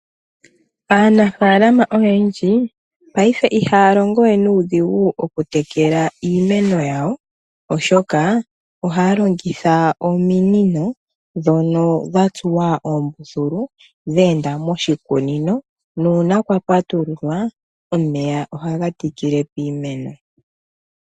Aanafalama oyendji, paife ihaya longo we nuudhigu okutekela iimeno yawo, oshoka ohaya longitha ominino ndhono dha tsuwa oombuthulu dhe enda moshikunino nuuna kwa patululwa omeya ohaga tikile piimeno.